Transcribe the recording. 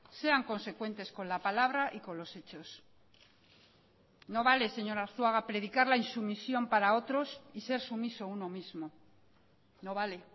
sean consecuentes con la palabra y con los hechos no vale señor arzuaga predicar la insumisión para otros y ser sumiso uno mismo no vale